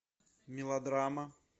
мелодрама